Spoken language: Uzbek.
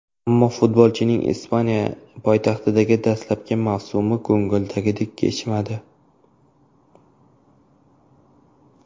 Ammo futbolchining Ispaniya poytaxtidagi dastlabki mavsumi ko‘ngidagidek kechmadi.